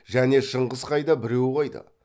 және шыңғыс қайда біреу қайда